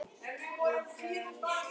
Úr frönsku